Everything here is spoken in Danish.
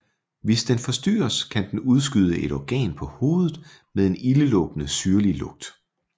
Hvis den forstyrres kan den udskyde et organ på hovedet med en ildelugtende syrlig lugt